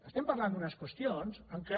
escolti parlem d’unes qüestions en què